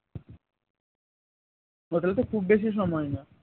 ওটাও তো খুব বেশি সময় না